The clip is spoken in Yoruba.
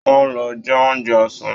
Wọn lọ jẹ oúnjẹ ọsán.